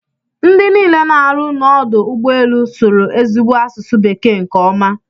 Ndị niile na-arụ n'ọdụ ụgbọ elu sụrụ ezigbo asụsụ bekee nke ọma.